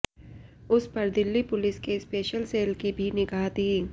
उसपर दिल्ली पुलिस के special cell की भी निगाह थी